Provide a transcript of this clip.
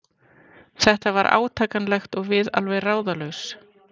Þetta var átakanlegt og við alveg ráðalaus.